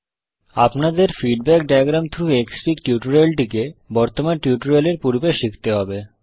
আপনাদের feedback diagram through Xfig টিউটোরিয়ালটিকে বর্তমান টিউটোরিয়াল এর পূর্বে শিখতে হবে